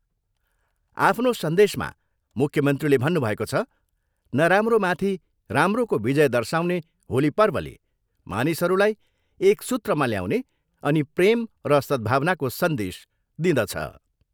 आफ्नो सन्देशमा मुख्यमन्त्रीले भन्नुभएको छ, नराम्रोमाथि राम्रोको विजय दर्शाउने होली पर्वले मानिसहरूलाई एक सूत्रमा ल्याउने अनि प्रेम र सद्भावनाको सन्देश दिदँछ।